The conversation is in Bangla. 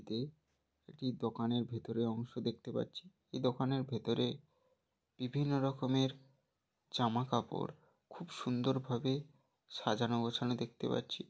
এতে একটি দোকানের ভিতরে অংশ দেখতে পাচ্ছি এই দোকানের ভিতরে বিভিন্ন রকমের জামাকাপড় খুব সুন্দরভাবে সাজানো গোছানো দেখতে পাচ্ছি।